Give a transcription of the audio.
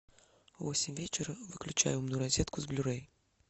в восемь вечера выключай умную розетку с блю рей